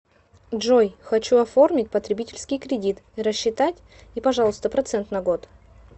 джой хочу оформить потребительский кредит рассчитать и пожалуйста процент на год